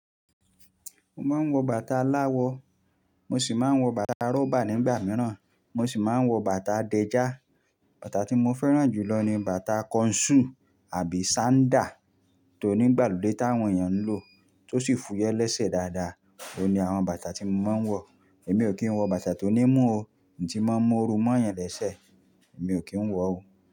Mo máa ń wọ bàtà aláwọ̀, mo sì máa ń wọ bàtà rọ́bà nígbà mìíràn, mo sì máa ń wọ bàtà dẹ́já. Bàtà tí mo fẹ́ràn jù lọ ni bàtà kọnsú àbí sandá tó ní ìgbàlódé táwọn èèyàn ń lò, tó sì fúyẹ́ lẹ́sẹ̀ dáadáa, oun ni àwọn bàtà tí mo máa ń wọ. Èmi ò kí ń wọ bàtà tó ní mú o, tí n máa ń mú oru mọ́ yàn lẹ́sẹ̀, mi ò kí ń wọ ò.